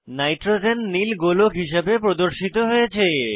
nitrogen নীল গোলক হিসাবে প্রদর্শিত হয়েছে